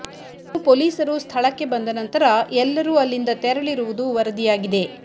ಇನ್ನು ಪೊಲೀಸರು ಸ್ಥಳಕ್ಕೆ ಬಂದ ನಂತರ ಎಲ್ಲರೂ ಅಲ್ಲಿಂದ ತೆರಳಿರುವುದು ವರದಿಯಾಗಿದೆ